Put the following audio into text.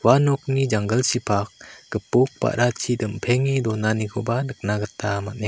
ua nokni janggilchipak gipok ba·rachi dimpenge donanikoba nikna gita man·enga.